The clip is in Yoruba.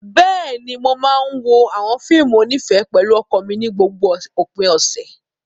Bẹ́ẹ̀ni, mo máa ń wo àwọn fíìmù onífẹ̀ẹ́ pẹ̀lú ọkọ mi ní gbogbo òpin ọ̀sẹ̀.